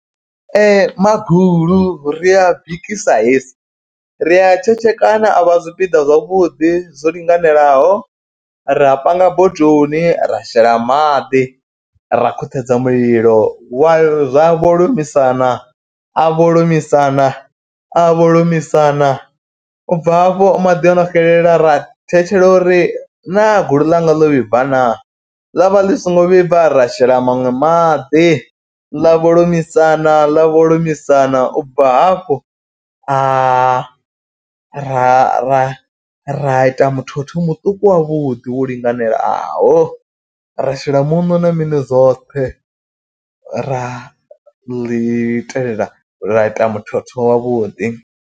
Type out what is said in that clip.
Magulu ri a bikisa hezwi ri a tshetshekana a vha zwipiḓa zwavhuḓi zwo linganelaho. Ra a panga bodoni ra shela maḓi ra khuṱhedza mulilo wa zwa vholomisana a vholomisana a vholomisana. U bva hafho maḓi ono xelela ra thetshele uri naa gulu ḽanga ḽo vhibva naa ḽavha ḽi songo vhibva. Ra shela maṅwe maḓi ḽa vholomisana ḽa vholomisana. U bva hafho a ra ra ra ita muthotho muṱuku wavhuḓi wo linganelaho ra shela muṋo na mini zwoṱhe ra ḽi itelela ra ita muthotho wa vhuḓi.